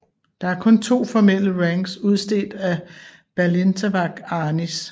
Der er kun to formelle ranks udstedt af Balintawak Arnis